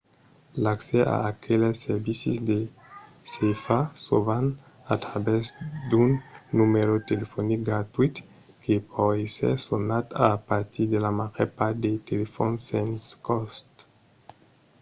l'accès a aqueles servicis se fa sovent a travèrs d'un numèro telefonic gratuït que pòt èsser sonat a partir de la màger part de telefòns sens còst